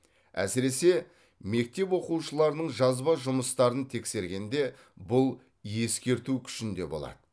әсіресе мектеп оқушыларының жазба жұмыстарын тексергенде бұл ескерту күшінде болады